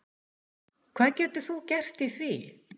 Hvað getur þú gert í því?